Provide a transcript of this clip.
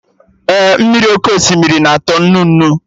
Ee, mmiri oké osimiri na-atọ nnu nnu